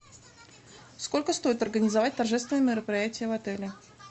сколько стоит организовать торжественное мероприятие в отеле